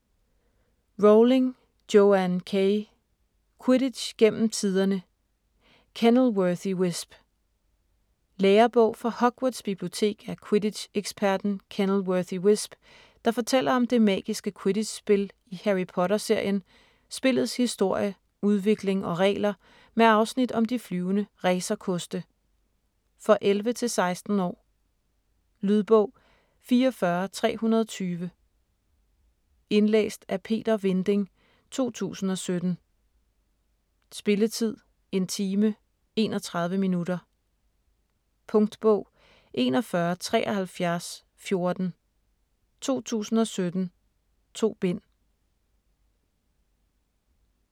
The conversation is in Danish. Rowling, Joanne K.: Quidditch gennem tiderne: Kennilworthy Whisp Lærebog fra Hogwarts Bibliotek af quidditch-eksperten Kennilworthy Whisp, der fortæller om det magiske quiddditch spil i Harry Potter serien, spillets historie, udvikling og regler med afsnit om de flyvende racerkoste. For 11-16 år. Lydbog 44320 Indlæst af Peter Vinding, 2017. Spilletid: 1 time, 31 minutter. Punktbog 417314 2017. 2 bind.